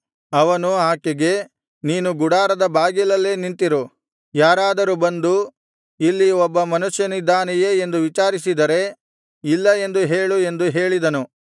ಅವನು ಆಕೆಗೆ ನೀನು ಗುಡಾರದ ಬಾಗಿಲಲ್ಲೇ ನಿಂತಿರು ಯಾರಾದರೂ ಬಂದು ಇಲ್ಲಿ ಒಬ್ಬ ಮನುಷ್ಯನಿದ್ದಾನೆಯೇ ಎಂದು ವಿಚಾರಿಸಿದರೆ ಇಲ್ಲ ಎಂದು ಹೇಳು ಎಂದು ಹೇಳಿದನು